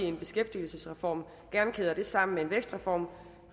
en beskæftigelsesreform sammen med en vækstreform